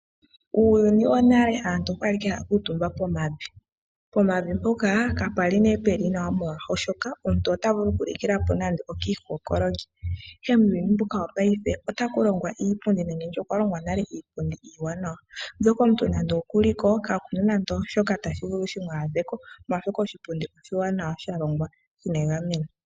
Uuyuni wonale aantu okwali ike haya kuutumba pomavi, po mavi mpoka ka pwali nduno puli nawa molwashoka omuntu ota vulu oku likila po nande okiikookololi. Ihe muuyuni mbuka wopaife otaku longwa iipundi nenge nditye okwa longwa nale iipundi iiwanawa. Mbyoka omuntu nande oku liko ka kuna nande ooshoka tashi vulu shimu adheko molwashoka oshipundi oshiwanawa sha longwa shina egameno.